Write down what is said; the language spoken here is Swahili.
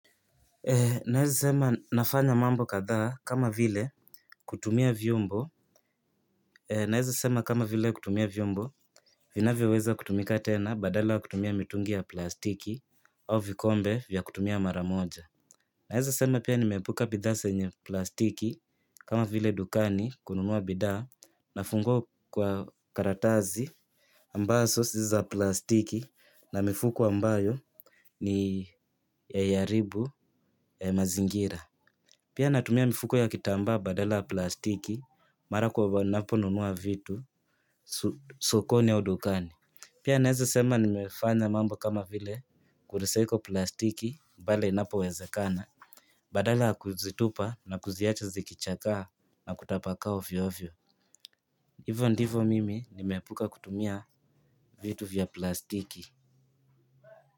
Naweza sema nafanya mambo kadhaa kama vile kutumia vyombo. Naweza sema kama vile kutumia vyombo vinavyo weza kutumika tena badala ya kutumia mitungi ya plastiki au vikombe vya kutumia mara moja. Naweza sema pia nimeepuka bidhaa zenye plastiki kama vile dukani kununua bidhaa nafungiwa kwa karatasi ambazo si za plastiki na mifuko ambayo haiharibu mazingira. Pia natumia mifuko ya kitambaa badala ya plastiki mara ninapo nunua vitu sokoni au dukani. Pia naweza sema nimefanya mambo kama vile kurecycle plastiki pale inapowezekana. Badala ya kuzitupa na kuziacha zikichakaa na kutapakaa ovyo ovyo. Hivo ndivyo mimi nimeepuka kutumia vitu vya plastiki.